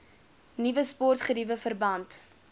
nuwe sportgeriewe verband